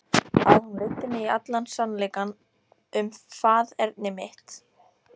Að hún leiddi mig í allan sannleikann um faðerni mitt.